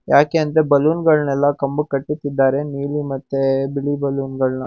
ಯಾಕೆಂದರೆ ಬಲೂನಗಳನ್ನೆಲ್ಲ ಕಂಬಕ್ ಕಟ್ಟುತ್ತಿದ್ದಾರೆ ನೀಲಿ ಮತ್ತೆ ಬಿಳಿ ಬಲೂನಗಳನ್ನ--